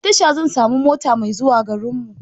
A tasha zan samu mota mai zuwa garinmu.